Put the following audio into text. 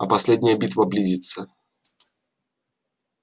а последняя битва близится